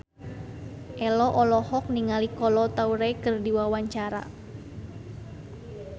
Ello olohok ningali Kolo Taure keur diwawancara